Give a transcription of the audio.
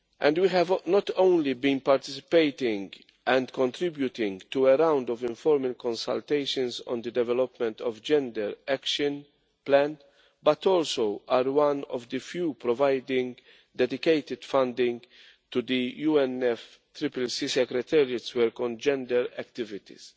We have not only been participating and contributing to a round of informal consultations on the development of the gender action plan, but also are one of the few organisations providing dedicated funding to the UNFCCC secretariat's work on gender activities.